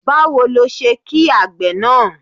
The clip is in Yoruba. Báwo ni o ṣe ki àgbè náà?